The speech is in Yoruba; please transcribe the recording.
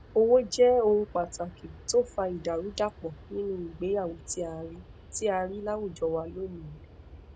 owó jẹ ohun pàtàkì tó fa ìdàrúdàpọ nínú ìgbéyàwó tí a rí tí a rí láwùjọ wa lónìí